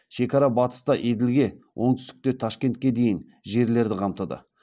шекара батыста еділге оңтүстікте ташкентке дейінгі жерлерді қамтыды